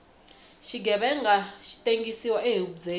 xighevenga xi tengsiwa ehubyeni